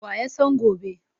Wa ya san gobe?